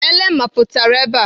Ele mapụtara ebe a.